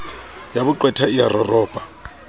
ya boqwetha e a roropa